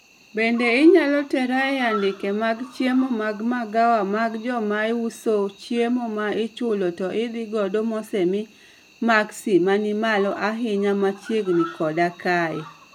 Bende inyalo tera e andike mag chiemo mag magawa mag jochainamauso chiemo ma ichulo to idhi godo mosemi maksi manimalo ahinya machiegni koda kae